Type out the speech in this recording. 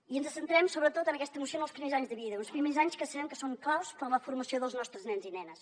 i ens centrem sobretot en aquesta moció en els primers anys de vida uns primers anys que sabem que són claus per a la formació dels nostres nens i nenes